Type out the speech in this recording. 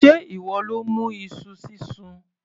Sé ìwọ ló mú iṣu sísun?